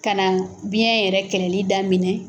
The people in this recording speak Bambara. Ka na biɲɛ yɛrɛ kɛlɛli da minɛ.